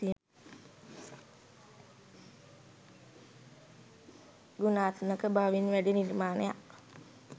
ගුණාත්මක බවින් වැඩි නිර්මාණයක්